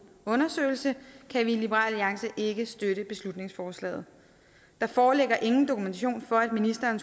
undersøgelse kan vi i liberal alliance ikke støtte beslutningsforslaget der foreligger ingen dokumentation for at ministeren